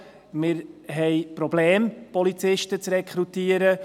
Wir haben Probleme, Polizisten zu rekrutieren.